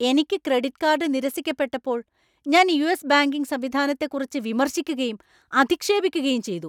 എനിക്ക് credit card നിരസിക്കപ്പെട്ടപ്പോൾ ഞാൻ യു.എസ്. ബാങ്കിംഗ് സംവിധാനത്തെക്കുറിച്ച് വിമർശിക്കുകയും അധിക്ഷേപിക്കുകയും ചെയ്തു.